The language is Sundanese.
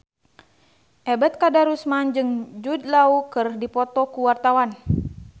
Ebet Kadarusman jeung Jude Law keur dipoto ku wartawan